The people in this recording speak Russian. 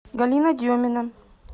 галина демина